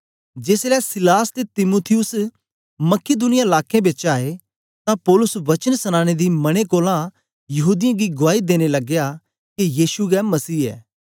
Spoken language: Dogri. जेसलै सीलास ते तीमुथियुस मकिदुनिया लाकें बिचा आए तां पौलुस वचन सनाने दी मने कोलां यहूदीयें गी गुआई देने लगया के यीशु गै मसीह ऐ